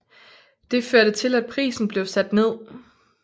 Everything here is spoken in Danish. Det førte til at prisen blev sat ned